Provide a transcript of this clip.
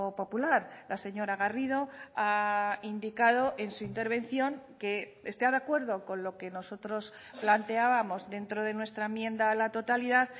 popular la señora garrido ha indicado en su intervención que está de acuerdo con lo que nosotros planteábamos dentro de nuestra enmienda a la totalidad